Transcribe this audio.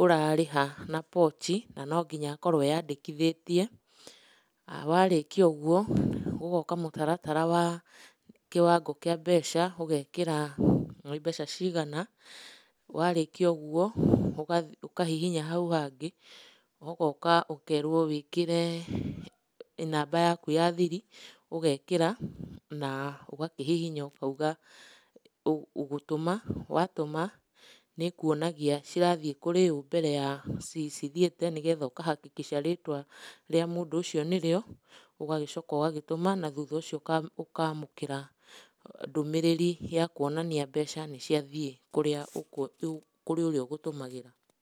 ũrarĩha na Pochi, na no nginya akorwo eandĩkithĩtie. Warĩkia ũguo, ũgaũka mũtaratara wa kĩwango kĩa mbeca, ũgeekĩra nĩ mbeca cigana. Warĩkia ũguo ũkahihinya hau hangĩ, ũgaũka ũkeerwo wĩkĩre namba yaku ya thiri, ũgeekĩra na ũgakĩhihinya ũkauga ũgũtũma. Watũma nĩ ĩkũonagia cirathiĩ kũrĩ ũũ mbere ya cithiĩte nĩgetha ũka hakikisha rĩtwa rĩa mũndũ ũcio nĩrĩo. Ũgagĩcoka ũgagĩtũma, na thutha ũcio ũkaamũkĩra ndũmĩrĩri ya kũonania mbeca nĩ ciathiĩ kũrĩa kũrĩ ũrĩa ũgũtũmagĩra.